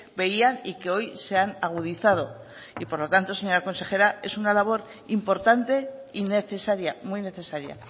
veían y que hoy se han agudizado y por lo tanto señora consejera es una labor importante y necesaria muy necesaria